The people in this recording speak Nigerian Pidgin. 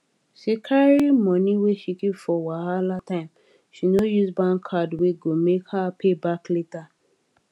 she carry money wey she keep for wahala time she no use bank card wey go make her pay back later